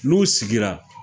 N'u sigira